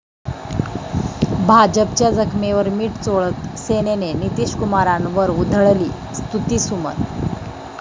भाजपच्या जखमेवर मिठ चोळत सेनेनं नितीशकुमारांवर उधळली स्तुतीसुमनं